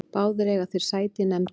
Báðir eiga þeir sæti í nefndinni